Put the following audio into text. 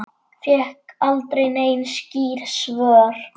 Fékk aldrei nein skýr svör.